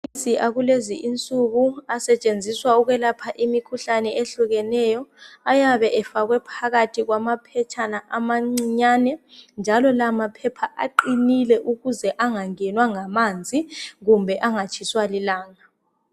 Amaphilisi akulezinsuku asetshenziswa ukwelapha imikhuhlane ehlukeneyo ayabe efakwe phakathi kwamaphetshana amancinyane njalo lamaphepha aqinile ukuze angenwa ngamanzi kumbe angatshiswa lilanga.